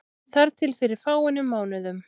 Þar til fyrir fáeinum mánuðum.